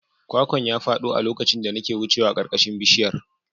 Kwakwan ya fado a lokacin da nake wucewa a ƙarƙashin bishiyar.